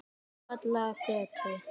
Ásvallagötu